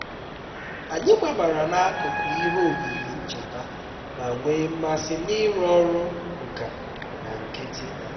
anyị gbabara n'akụkụ ihe oyiyi ncheta ma nwee mmasị n'ịrụ ọrụ nka na nkịtị